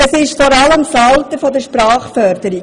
Es ist vor allem das Alter der Sprachförderung.